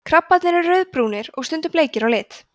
krabbarnir eru rauðbrúnir og stundum bleikir á lit